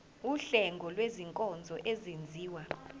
wuhlengo lwezinkonzo ezenziwa